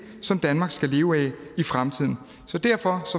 som danmark skal leve af i fremtiden derfor